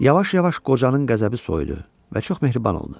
Yavaş-yavaş qocanın qəzəbi soyudu və çox mehriban oldu.